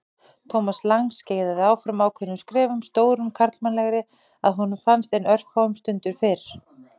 Thomas Lang skeiðaði áfram ákveðnum skrefum, stórum karlmannlegri að honum fannst en örfáum stundum fyrr.